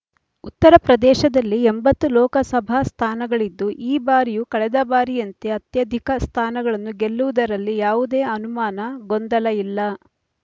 ಉತ್ತರ ಪ್ರದೇಶದಲ್ಲಿ ಎಂಬತ್ತು ಲೋಕಸಭಾ ಸ್ಥಾನಗಳಿದ್ದು ಈ ಬಾರಿಯೂ ಕಳೆದ ಬಾರಿಯಂತೆ ಅತ್ಯಧಿಕ ಸ್ಥಾನಗಳನ್ನು ಗೆಲ್ಲುವುದರಲ್ಲಿ ಯಾವುದೇ ಅನುಮಾನ ಗೊಂದಲ ಇಲ್ಲ